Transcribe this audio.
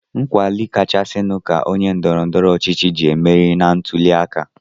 Nkwado kachasịnụ ka onye ndọrọndọrọ ọchịchị ji emeri na ntụliaka.